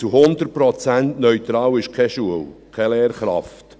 Zu 100 Prozent neutral ist keine Schule, keine Lehrkraft.